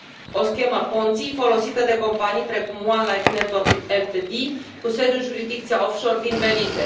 O schemă Ponzi folosită de companii precum OneLife Network Ltd, cu sediul în jurisdicția offshore din Belize.